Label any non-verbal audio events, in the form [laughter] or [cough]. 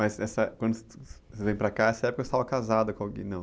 Mas, essa, quando [unintelligible] você vem para cá, nessa época você estava casada com alguém, não?